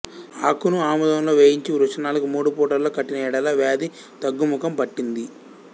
ఆకును ఆముదంలో వేయించి వృషణాలకు మూడు పూటలలో కట్టినయెడల వ్యాధి తగ్గుముఖం పట్టింది